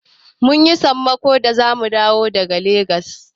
Mun yi sammako da zamu dawo daga Legas.